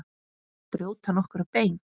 Brjóta nokkur bein?